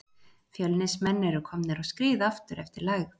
Fjölnismenn eru komnir á skrið aftur eftir lægð.